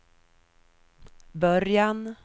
början